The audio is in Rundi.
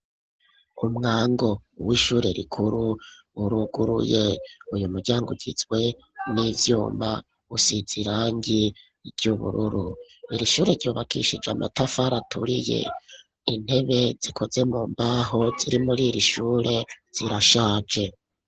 Umwango w'ishure rikuru uruguruye uyu muryango ugizwe n'ivyuma usize irangi ry'ubururu iri shure ryubakishije amatafari aturiye intebe zikoze mu mbaho ziri muriri shure zirashaje.